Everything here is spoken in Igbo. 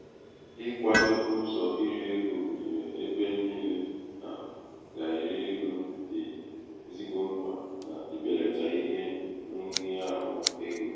ikwādō ụzọ irī ego gụnyere ebe niilē a gà èri ego dị̀ ezigbo mkpà n’ibèlàtà ihe nhịahụ egō